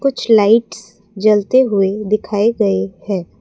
कुछ लाइट्स जलते हुए दिखाई गई है।